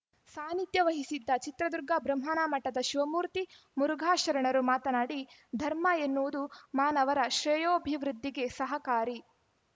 ಸಾನಿಧ್ಯ ವಹಿಸಿದ್ದ ಚಿತ್ರದುರ್ಗ ಬೃಹನ್ಮಠದ ಶಿವಮೂರ್ತಿ ಮುರುಘಾ ಶರಣರು ಮಾತನಾಡಿ ಧರ್ಮ ಎನ್ನುವುದು ಮಾನವರ ಶ್ರೇಯೋಭಿವೃದ್ದಿಗೆ ಸಹಕಾರಿ